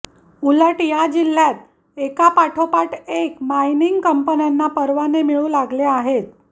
उलट या जिल्ह्यात एकापाठोपाठ एक मायनिंग कंपन्यांना परवाने मिळू लागले आहेत